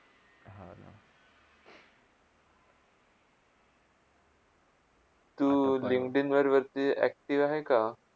तू LinkedIn वरवरती active आहे का?